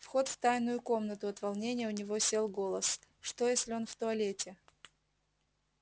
вход в тайную комнату от волнения у него сел голос что если он в туалете